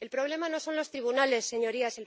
El problema no son los tribunales, señorías.